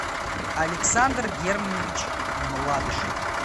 александр германович младышев